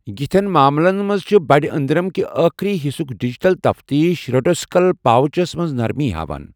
یِتھٮ۪ن معاملن منٛز چھِٗ بَڑِ أنٛدرم کہِ ٲخری حِصُک ڈِجِٹل تفتیٖش ریٚٹوویٚسِکل پاوچس منٛز نرمی ہاوان۔